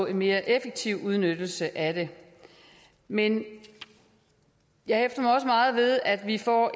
en mere effektiv udnyttelse af det men jeg hæfter mig også meget ved at vi får